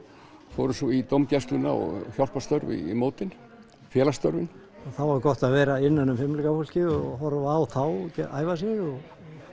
fórum svo í dómgæsluna og hjálparstörf við mótin félagsstörfin þá var gott að vera innan um fimleikafólkið og horfa á æfa sig og